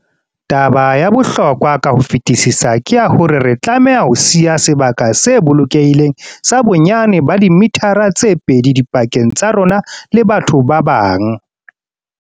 Taba ya bohlokwa ka ho fetisisa ke ya hore re tlameha ho siya sebaka se bolokehileng sa bonyane ba dimithara tse pedi dipakeng tsa rona le batho ba bang.